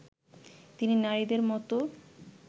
তিনি নারীদের মতো